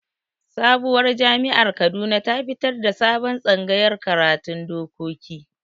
Sabowar jami'ar Kaduna ta fitar da sabon tsangayar karatun dokoki